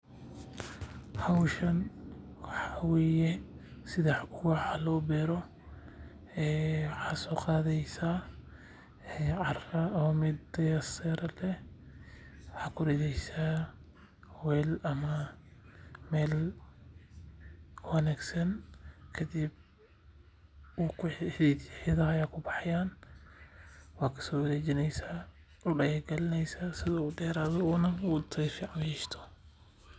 Howshan waxaa waye sida wax loo beero waxaad soo qadeeysa meel taya leh waxaad ku rideysa meel wanagsan waad kasoo rideysa si wax fican uyeesho.